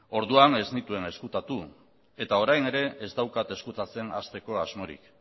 orduan ez nituen ezkutatu eta orain ere ez daukat ezkutatzen hasteko asmorik